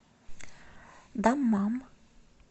даммам